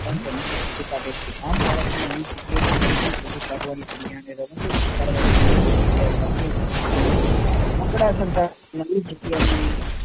પણ રમકડું શોધી કાઢી છે આમ' બાળક ને રમકડું સંતાડવાની નવી જગ્યાને જૂની જગ્યા સાથે રમકડું સંતાડવાની નવી જગ્યા ન